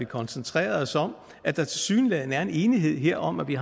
koncentrere os om at der tilsyneladende er en enighed om at vi